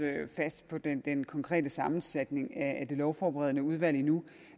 fast på den den konkrete sammensætning af det lovforberedende udvalg endnu